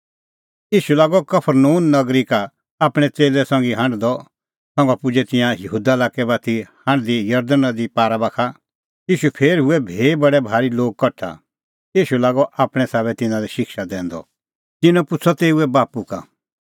तेखअ आअ सह तिधा का जरदण नदी पार यहूदा लाक्कै और तेऊ सेटा हूऐ बडै भारी लोग कठा ईशू लागअ आपणैं साबै तिन्नां लै शिक्षा दैंदअ